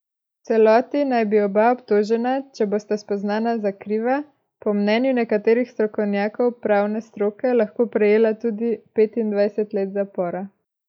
V celoti naj bi oba obtožena, če bosta spoznana za kriva, po mnenju nekaterih strokovnjakov pravne stroke lahko prejela tudi petindvajset let zapora.